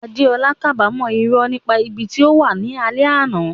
Adeola kábàámọ̀ irọ́ nípa ibi tí ó wà ní alẹ́ àná.